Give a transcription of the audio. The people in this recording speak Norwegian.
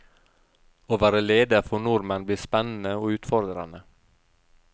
Å være leder for nordmenn blir spennende og utfordrende.